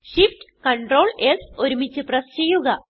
Shift Ctrl S ഒരുമിച്ച് press ചെയ്യുക